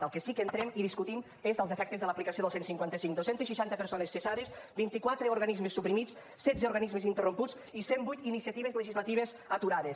en el que sí que entrem i discutim és en els efectes de l’aplicació del cent i cinquanta cinc dos cents i seixanta persones cessades vint quatre organismes suprimits setze organismes interromputs i cent i vuit iniciatives legislatives aturades